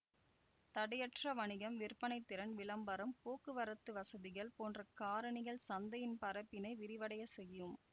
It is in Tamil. தடையற்றவணிகம் விற்பனைத்திறன் விளம்பரம் போக்குவரத்துவசதிகள் போன்ற காரணிகள் சந்தையின் பரப்பினை விரிவடையச்செய்யும்